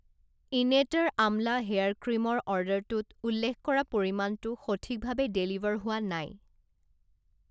ইনেটাৰ Amla hair ক্ৰীমৰ অৰ্ডাৰটোত উল্লেখ কৰা পৰিমাণটো সঠিকভাৱে ডেলিভাৰ হোৱা নাই।